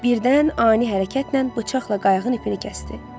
Birdən ani hərəkətlə bıçaqla qayığın ipini kəsdi.